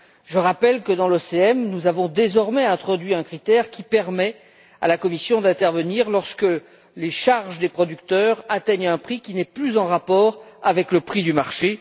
Je rappelle que dans l'OCM, nous avons désormais introduit un critère qui permet à la Commission d'intervenir lorsque les charges des producteurs atteignent un prix qui n'est plus en rapport avec le prix du marché.